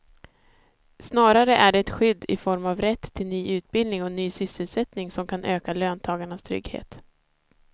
Snarare är det skydd i form av rätt till ny utbildning och ny sysselsättning som kan öka löntagarnas trygghet.